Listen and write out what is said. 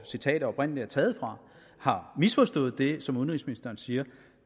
citatet oprindelig er taget fra har misforstået det som udenrigsministeren siger